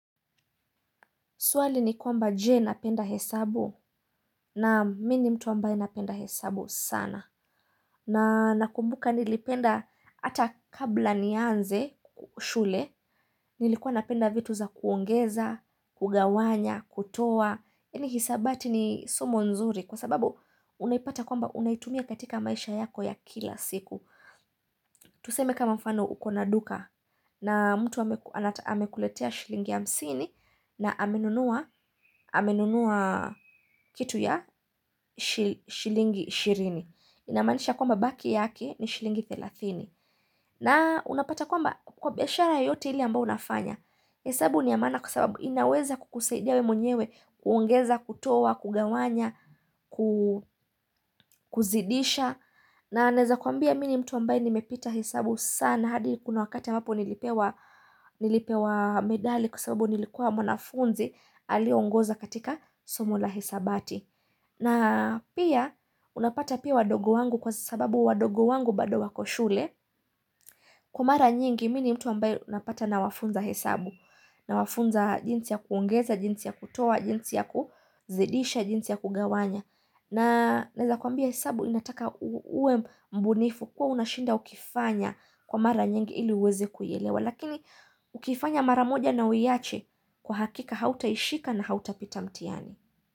Swali ni kwamba je napenda hesabu naam mii ni mtu ambaye napenda hesabu sana. Na nakumbuka nilipenda hata kabla nianze shule. Nilikuwa napenda vitu za kuongeza, kugawanya, kutoa. Ini hisabati ni somo nzuri kwa sababu unaipata kwamba unaitumia katika maisha yako ya kila siku. Tuseme kama mfano ukona duka na mtu amekuletea shilingi hamsini na amenunua. Amenunua kitu ya shilingi ishirini inamaanisha kwamba baki yake ni shilingi thelathini na unapata kwamba kwa biashara yote ile ambayo unafanya hesabu niyamaana kwa sababu inaweza kukusaidia wewe mwenyewe, kuongeza, kutoa kugawanya, kuzidisha na naezakwambia mii ni mtu ambaye nimepita hesabu sana hadi kuna wakati hapo nilipewa nilipewa medali kwa sababu nilikuwa mwanafunzi aliyeongoza katika somo la hesabati na pia unapata pia wadogo wangu kwa sababu wadogo wangu bado wa koshule kwa mara nyingi mini mtu ambayo unapata na wafunza hesabu na wafunza jinsi ya kuongeza, jinsi ya kutoa jinsi ya kuzidisha, jinsi ya kugawanya na naweza kuambia hesabu inataka uwe mbunifu kuwa unashinda ukifanya kwa mara nyingi ili uweze kuyaelewa lakini ukifanya maramoja na uyaache kwa hakika hauta ishika na hauta pita mtihani.